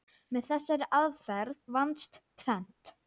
Með þessari aðferð vannst tvennt.